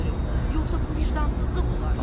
Yoxsa bu vicdansızlıq olar.